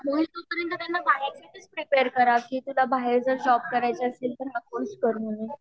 तर त्यांना काढ्याचे असेल तर तिला बाहेर जर जोब करायचं असेल तर हा कोर्से कर म्हणू